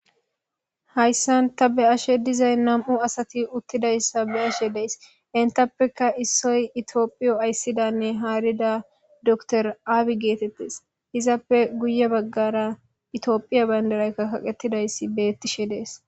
hayssan ta be'ashe dizay nam7u asati uttidayssa be'ashe dees intappeka issoy itiyophiyo ayssidanne haarida dokter aabiy geetettes izappe guye baggara itioyophiya bandaraykka kaqetidayssi bettishe dees.